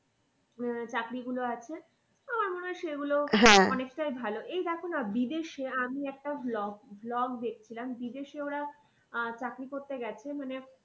আহ চাকরি গুলো আছে আমার আর সেগুলো অনেকটাই ভালো। এই দেখো না বিদেশে আমি একটা vlog, vlog দেখছিলাম বিদেশে ওরা আহ চাকরি করতে গেছে মানে